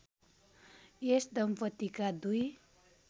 यस दम्पतिका दुई